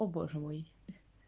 о боже мой